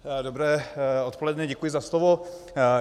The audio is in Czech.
Dobré odpoledne, děkuji za slovo.